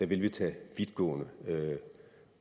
vil tage vidtgående